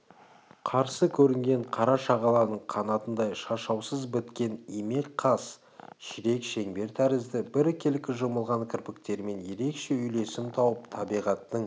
қарсы көрінген қара шағаланың қанатындай шашаусыз біткен имек қас ширек шеңбер тәрізді біркелкі жұмылған кірпіктермен ерекше үйлесім тауып табиғаттың